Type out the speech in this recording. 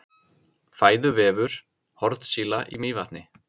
fæðuvefur hornsíla í mývatni